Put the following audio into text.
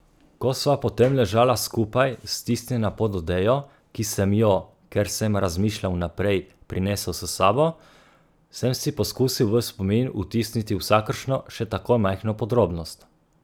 Ko sva potem ležala skupaj, stisnjena pod odejo, ki sem jo, ker sem razmišljal vnaprej, prinesel s sabo, sem si poskusil v spomin vtisniti vsakršno, še tako majhno podrobnost.